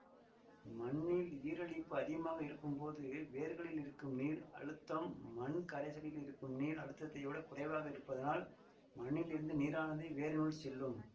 மண்ணில் ஈரலிப்பு அதிகமாக இருக்கும்போது வேர்களில் இருக்கும் நீர் அழுத்தம் மண் கரைசலில் இருக்கும் நீர் அழுத்தத்தைவிடக் குறைவாக இருப்பதனால் மண்ணிலிருந்து நீரானது வேரினுள் செல்லும்